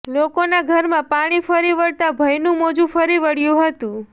લોકોના ઘરમાં પાણી ફરી વળતા ભયનું મોજું ફરી વળ્યું હતું